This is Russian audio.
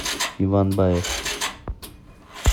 иван баев